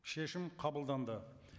шешім қабылданды